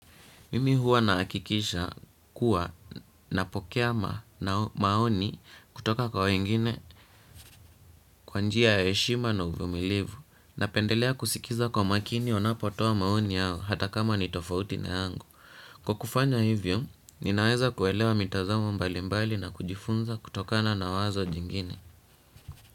Mimi huwa naakikisha kuwa napokea maoni kutoka kwa wengine kwa njia ya heshima na uvumilivu napendelea kusikiza kwa makini wanapotoa maoni yao hata kama ni tofauti na yangu. Kwa kufanya hivyo, ninaweza kuelewa mitazamo mbali mbali na kujifunza kutokana na wazo jingine.